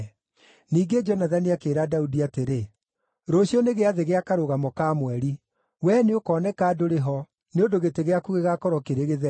Ningĩ Jonathani akĩĩra Daudi atĩrĩ, “Rũciũ nĩ gĩathĩ gĩa Karũgamo ka Mweri. Wee nĩũkoneka ndũrĩ ho, nĩ ũndũ gĩtĩ gĩaku gĩgaakorwo kĩrĩ gĩtheri.